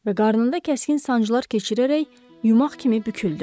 Və qarnında kəskin sancılar keçirərək yumag kimi büküldü.